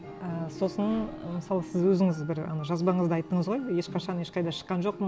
і сосын ы мысалы сіз өзіңіз бір ана жазбаңызда айттыңыз ғой ешқашан ешқайда шыққан жоқпын